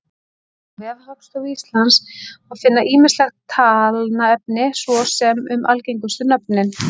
Á vef Hagstofu Íslands má finna ýmislegt talnaefni, svo sem um algengustu nöfnin.